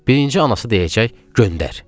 Birinci anası deyəcək: “Göndər!”